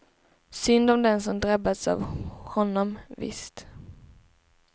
Synd om dem som drabbats av honom, visst.